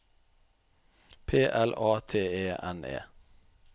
P L A T E N E